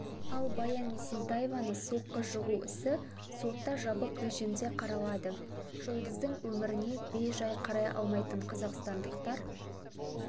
ал баян есентаеваны соққы жығу ісі сотта жабық режимде қаралады жұлдыздың өміріне бей-жай қарай алмайтын қазақстандықтар